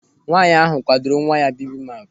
Nwaanyị ahụ kwadoro nwa ya bibimap.